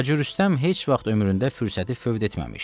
Hacı Rüstəm heç vaxt ömründə fürsəti fövd etməmiş.